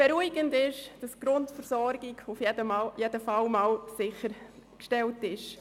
Beruhigend ist, dass die Grundversorgung sichergestellt ist.